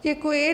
Děkuji.